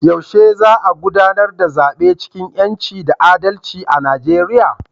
Yaushe za a gudanar da zabe cikin 'yanci da adalci a Nijeriya?